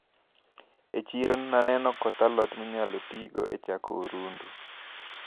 E chiro naneno koth a lot minyalo tigodo e chako orundu.